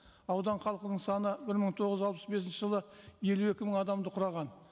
аудан халқының саны бір мың тоғыз жүз алпыс бесінші жылы елу екі мың адамды құраған